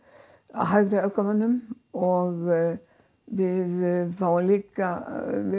að hægri öfgamönnum og við fáum líka